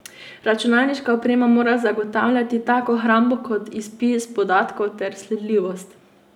Računalniška oprema mora zagotavljati tako hrambo kot izpis podatkov ter sledljivost.